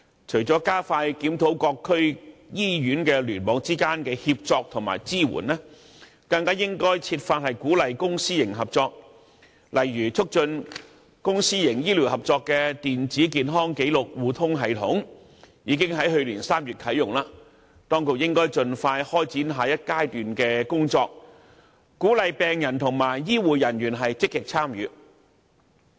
除了加快檢討各區醫院聯網之間的協作和支援，更應設法鼓勵公私營合作，例如促進公私營醫療合作的電子健康紀錄互通系統，已於去年3月啟用，當局應該盡快開展下一階段的工作，鼓勵病人和醫護人員積極參與。